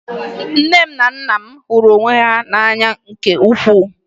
Nne m na nna m hụrụ onwe ha n'anya nke ukwuu